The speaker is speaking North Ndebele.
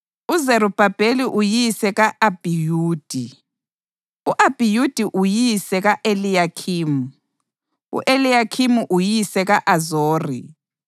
uZerubhabheli uyise ka-Abhiyudi, u-Abhiyudi uyise ka-Eliyakhimu, u-Eliyakhimu uyise ka-Azori,